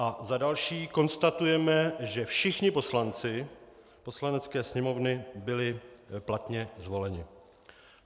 A za další: Konstatujeme, že všichni poslanci Poslanecké sněmovny byli platně zvoleni.